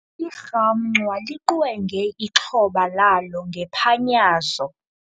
Irhamncwa liqwenge ixhoba lalo ngephanyazo.